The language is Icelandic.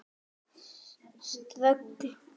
Ströggl á mínum?